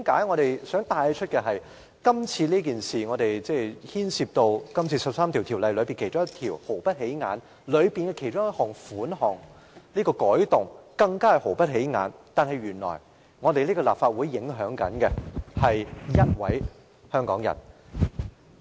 我想帶出的是，今次所牽涉的13項附屬法例中，一項毫不起眼的規例的其中一項條款，有關的改動亦是毫不起眼，但原來卻影響了一位香港人。